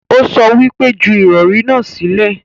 Ó sọ wípé 'Ju ìrọ̀rí náà sílẹ̀'